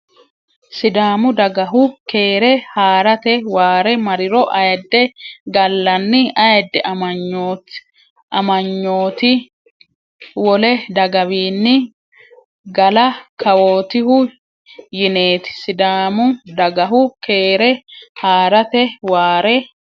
Sidaamu dagahu keere haa rate waare marriro Ayidde gallanni Ayidde amanyooti wole dagawiinni gala kawootihu yineeti Sidaamu dagahu keere haa rate waare.